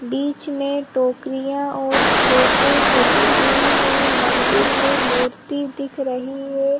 बीच में टोकरियां और प्लेटे सजी हुईं हैं मंदिर में मूर्ती दिख रही है।